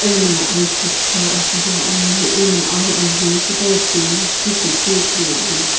ena aiyi ki tikhau asübo ani ena awu ajiu kudau timi lakhi chekeu ithuluani.